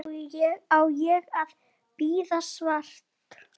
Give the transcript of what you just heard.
Á ég að bíða svars?